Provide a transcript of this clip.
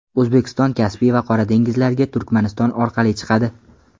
O‘zbekiston Kaspiy va Qora dengizlarga Turkmaniston orqali chiqadi.